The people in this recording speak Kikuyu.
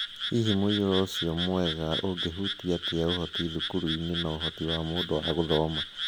Hihi muiyuro ucio mwega ungihutia atia ũhoti thukuru-inĩ na uhoti wa mundu wa gũthoma?